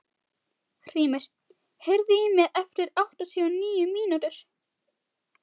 Hrímnir, heyrðu í mér eftir áttatíu og níu mínútur.